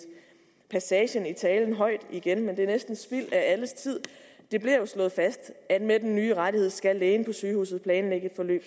passagen i talen højt igen men det er næsten spild af alles tid det bliver jo slået fast at med den nye rettigheder skal lægen på sygehuset planlægge et forløb